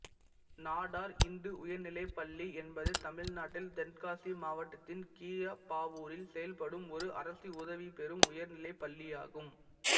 நாடார் இந்து உயர்நிலைப் பள்ளி என்பது தமிழ்நாட்டில் தென்காசி மாவட்டத்தின் கீழப்பாவூரில் செயல்படும் ஒரு அரசு உதவிபெறும் உயர்நிலைப் பள்ளியாகும்